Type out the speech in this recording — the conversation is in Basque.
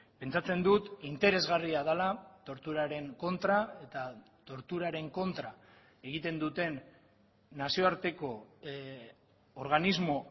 pentsatzen dut interesgarria dela torturaren kontra eta torturaren kontra egiten duten nazioarteko organismo